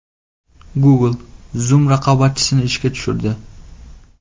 Google Zoom raqobatchisini ishga tushirdi.